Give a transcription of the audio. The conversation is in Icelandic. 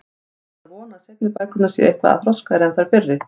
Ég hlýt að vona að seinni bækurnar séu eitthvað þroskaðri en þær fyrri.